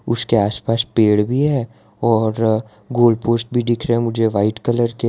उसके आसपास पेड़ भी है और गोल पोस्ट भी दिख रहे हैं मुझे व्हाइट कलर के।